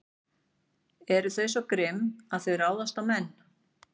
Eru þau svo grimm að þau ráðist á menn?